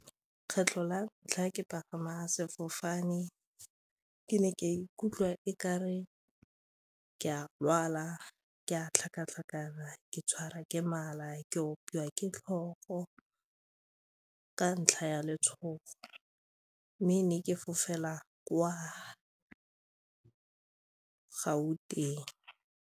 Kgetlho la ntlha ke pagama sefofane ke ne ka ikutlwa e ka re ke a lwala, ke a tlhakatlhakana, ke tshwara ke mala, ke opiwa ke tlhogo ka ntlha ya letshogo mme ne ke fofela kwa Gauteng.